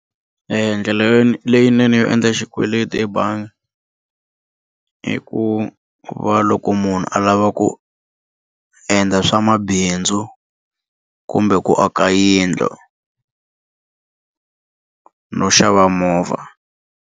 Ndlela leyinene yo endla xikweleti ebangi i ku va loko munhu a lava ku endla swamabindzu kumbe ku aka yindlu no xava movha.